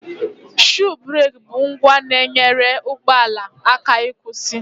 Shuu bereki bụ ngwa na-enyere ụgbọala aka ịkwụsị